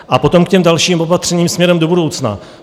A potom k těm dalším opatřením směrem do budoucna.